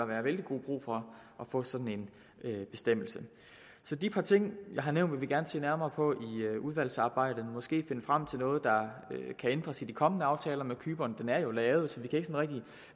være vældig god brug for at få sådan en bestemmelse de par ting jeg har nævnt vil vi gerne se nærmere på i udvalgsarbejdet måske finde frem til noget der kan ændres i de kommende aftaler med cypern aftalen er jo lavet så